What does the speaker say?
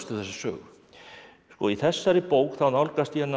þessa sögu í þessari bók þá nálgast ég hana